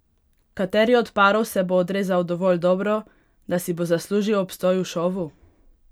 Kateri od parov se bo odrezal dovolj dobro, da si bo zaslužil obstoj v šovu?